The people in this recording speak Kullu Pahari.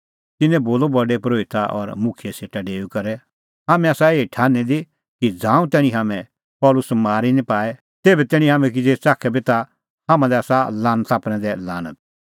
तिन्नैं बोलअ प्रधान परोहिता और मुखियै सेटा डेऊई करै हाम्हैं आसा एही ठान्हीं दी कि ज़ांऊं तैणीं हाम्हैं पल़सी मारी निं पाए तेभै तैणीं हाम्हैं किज़ै च़ाखे बी ता हाम्हां लै आसा लानता प्रैंदै लानत